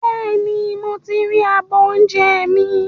Bẹ́ẹ̀ni, mo ti ri abọ́ oúnjẹ mi